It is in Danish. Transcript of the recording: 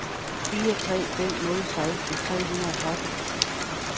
fire tre fem nul seksten tre hundrede og tretten